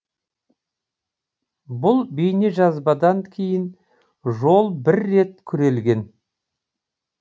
бұл бейнежазбадан кейін жол бір рет күрелген